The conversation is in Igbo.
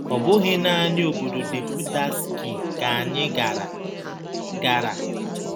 Ọ bụghị naanị ọbọdọ Deputatskiy ka anyị gara. gara.